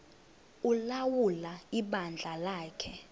ulawula ibandla lakhe